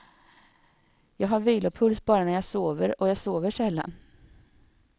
Jag har vilopuls bara när jag sover och jag sover sällan.